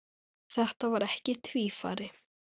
Þetta var ekki tvífari